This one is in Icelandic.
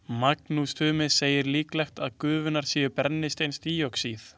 Magnús Tumi segir líklegt að gufurnar séu brennisteinsdíoxíð.